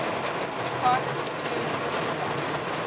cast includes inga